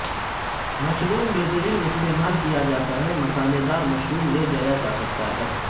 mushroom بہترین استعمال کیا جاتا ہے مسالیدار مشروم لے جایا جا سکتا ہے